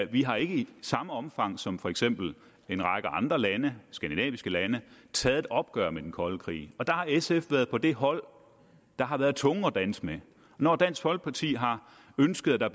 vi har ikke i samme omfang som for eksempel en række andre lande skandinaviske lande taget et opgør med den kolde krig der har sf været på det hold der har været tunge at danse med når dansk folkeparti har ønsket at der